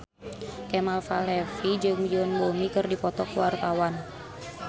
Kemal Palevi jeung Yoon Bomi keur dipoto ku wartawan